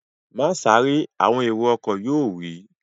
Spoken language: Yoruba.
Má sáré! Àwọn èrò ọkọ̀ yóò wí